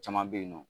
Caman bɛ yen nɔ